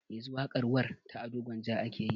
Yanzu waƙar warr ta ado gwanja ake yayi